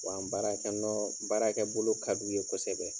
Wa an baarakɛ nɔ baarakɛ bolo ka d'u ye kosɛbɛ.